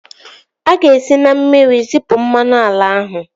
A ga-esi na mmiri zipu mmanụ ala ahụ